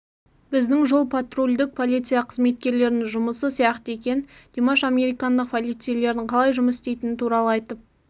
біздің жол-патрульдік полиция қызметкерлерінің жұмысы сияқты екен димаш американдық полицейлердің қалай жұмыс істейтіні туралы айтып